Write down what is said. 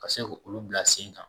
Ka se k' olu bila sen kan.